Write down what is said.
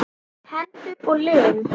Hendur og lim.